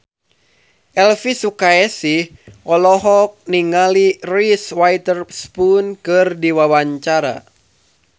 Elvy Sukaesih olohok ningali Reese Witherspoon keur diwawancara